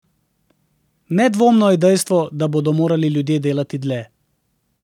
Nedvomno je dejstvo, da bodo morali ljudje delati dlje.